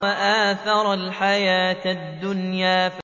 وَآثَرَ الْحَيَاةَ الدُّنْيَا